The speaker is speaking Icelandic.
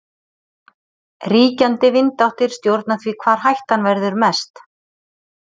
Ríkjandi vindáttir stjórna því hvar hættan verður mest.